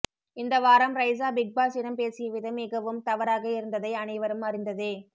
இந்த வாரம் ரைசா பிக் பாஸ்சிடம் பேசிய விதம் மிகவும் தவறாக இருந்ததை அனைவரும் அறிந்ததே